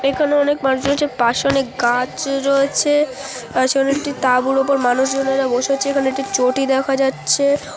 এখানে অনেক মানুষ রয়েছে পাশে অনেক গাছ রয়েছে সেখানে একটি তাঁবুর ওপর অনেক মানুষজনেরা বসে আছে এখানে একটি চটি দেখা যাচ্ছে ।